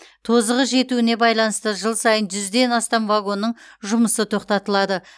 тозығы жетуіне байланысты жыл сайын жүзден астам вагонның жұмысы тоқтатылады